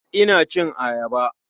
Ina cin ayaba.